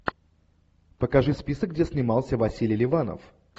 покажи список где снимался василий ливанов